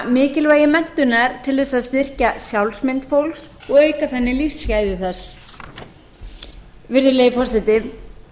mikilvægi menntunar til þess að styrkja sjálfsmynd fólks og auka þannig lífsgæði þess virðulegi forseti